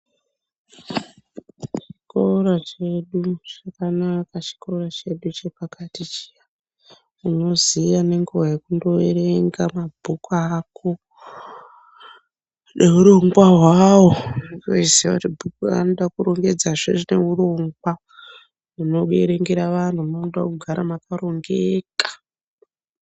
Zvikora zvedu zvakanaka chikora chedu chepakati chiya unoziya nenguwa yekundoerenga mabhuku ako neurongwa hwawo unotoziya kuti bhuku raunode kurongedza rine urongwa rinobiringira vantu rode mugare makarongeka.